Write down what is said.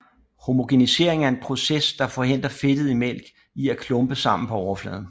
Homogenisering er en proces der forhindrer fedtet i mælk i at klumpe sammen på overfladen